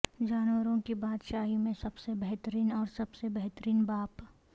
جانوروں کی بادشاہی میں سب سے بہترین اور سب سے بہترین باپ